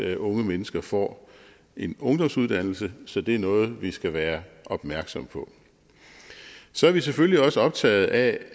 at unge mennesker får en ungdomsuddannelse så det er noget vi skal være opmærksom på så er vi selvfølgelig også optagede af